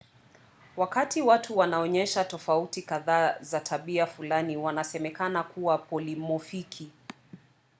wakati watu wanaonyesha tofauti kadhaa za tabia fulani wanasemekana kuwa polimofiki